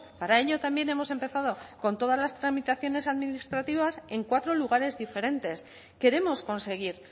para ello también hemos empezado con todas las tramitaciones administrativas en cuatro lugares diferentes queremos conseguir